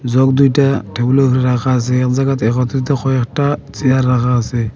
Jug দুইটা টেবিলের উপর রাখা আসে এক জায়গাতে একত্রিত কয়েকটা চেয়ার রাখা আসে।